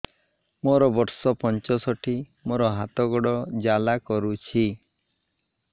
ମୋର ବର୍ଷ ପଞ୍ଚଷଠି ମୋର ହାତ ଗୋଡ଼ ଜାଲା କରୁଛି